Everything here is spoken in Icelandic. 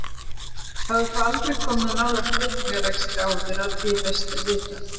Hafði þó aldrei komið nálægt veitingarekstri áður að því er best var vitað.